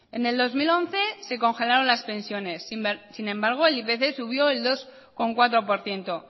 en el dos mil once se congelaron las pensiones sin embargo el ipc subió el dos coma cuatro por ciento